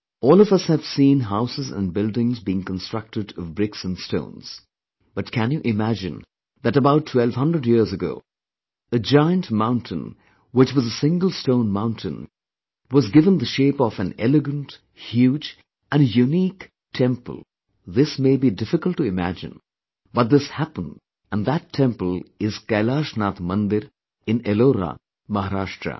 All of us have seen houses and buildings being constructed of bricks and stones but can you imagine that about twelve hundred years ago, a giant mountain which was a single stone mountain was give the shape of an elegant, huge and a unique temple this may be difficult to imagine, but this happened and that temple is KailashNathMandir in Ellora, Mahrashtra